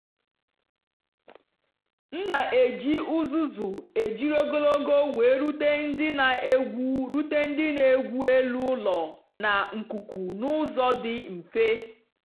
m na-eji uzuzu ejiri ogologo wee rute ndị na-egwu rute ndị na-egwu elu ụlọ na nkuku n'ụzọ dị mfe.